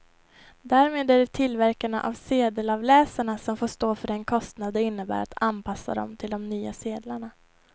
Därmed är det tillverkarna av sedelavläsarna som får stå för den kostnad det innebär att anpassa dem till de nya sedlarna.